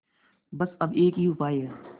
बस अब एक ही उपाय है